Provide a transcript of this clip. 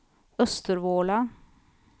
Östervåla